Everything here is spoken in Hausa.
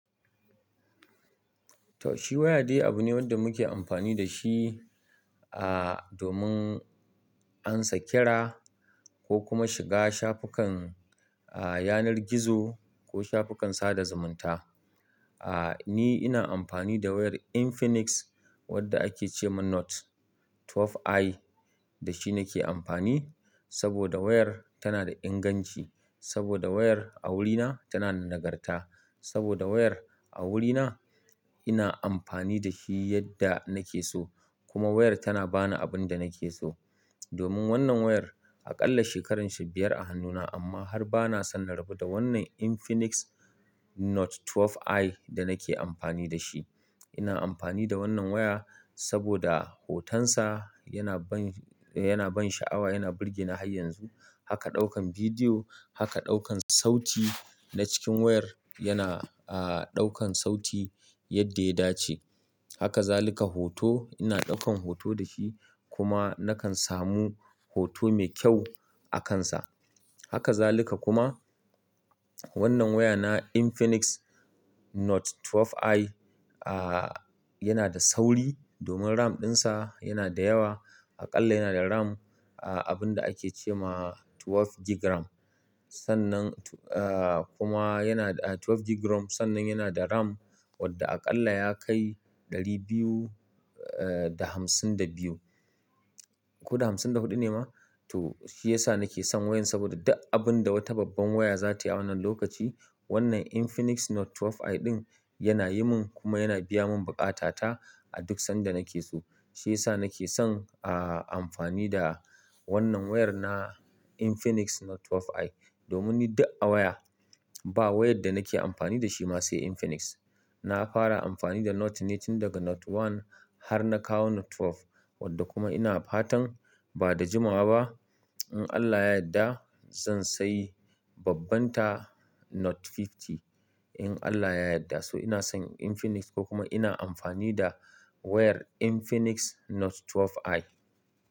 Toh shi waya dai abu ne wanda muke amfani da shi, a-domin ansa kira ko kuma shiga shafukan a-yanar gizo ko shafukan sada zumunta. A- ni ina amfani da wayar Infinix wadda ake ce ma Note 12i, da shi nake amfani saboda wayar tana da inganci, saboda wayar a wurina tana da nagarta, saboda wayar a wurina ina amfani da shi yadda nake so kuma wayar tana bani abin da nake so. Domin wannan wayar aƙalla shekarar shi biyar a hannuna amma har bana san na rabu da wannan Infinix Note 12i da nake amfani da shi. Ina amfani da wannan waya saboda hotonsa yana ban, yana ban sha'awa, yana birge ni har yanzu. Haka ɗaukan bidiyo, haka ɗaukan sauti na cikin wayar yana a-ɗaukan sauti yadda ya dace. Haka zaluka hoto, ina ɗaukan hoto da shi kuma nakan samu hoto mai ƙyau a kansa. Haka zaluka kuma wannan waya na Infinix Note 12i, a-yana da sauri domin RAM ɗinsa yana da yawa. Aƙalla yana da RAM a-abinda ake ce ma 12 gigram. Sannan tu-- a-kuma yana da, a-12 gigram sannan yana da RAM wadda aƙalla ya kai ɗari biyu a-da hamsin da biyu, ko da hamsin da huɗu ne ma? Toh shi yasa nake son wayan saboda duk abun da wata babban waya za ta yi a wannan lokaci wannan Infinix Note 12i ɗin yana yi mun kuma yana biya mun buƙata ta a duk sanda nake so. Shi yasa nake son a-amfani da wannan wayar na Infinix Note 12i. Domin ni duk a waya, ba wayar da nake amfani da shi ma sai Infinix. Na fara amfani da Note ne tun daga Note 1 har na kawo Note 12 wadda kuma ina fatan ba da jimawa ba, in Allah ya yadda zan sayi babbanta Note 50, in Allah ya yadda. So ina son Infinix ko kuma ina amfani da wayar Infinix Note 12i.